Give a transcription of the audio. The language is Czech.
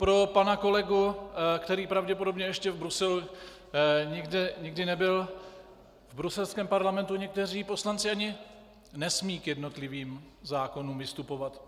Pro pana kolegu, který pravděpodobně ještě v Bruselu nikdy nebyl - v bruselském parlamentu někteří poslanci ani nesmějí k jednotlivým zákonům vystupovat.